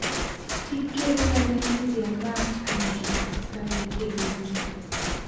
Thikĩrĩria mecria ma angĩ na wĩigĩrĩrĩki.